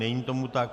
Není tomu tak.